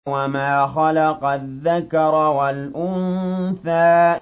وَمَا خَلَقَ الذَّكَرَ وَالْأُنثَىٰ